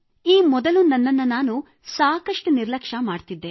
ಈ ಮೊದಲು ನನ್ನನ್ನು ನಾನು ಸಾಕಷ್ಟು ನಿರ್ಲಕ್ಷ್ಯ ಮಾಡುತ್ತಿದ್ದೆ